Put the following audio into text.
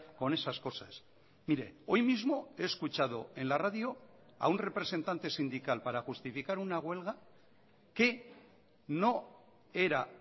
con esas cosas mire hoy mismo he escuchado en la radio a un representante sindical para justificar una huelga que no era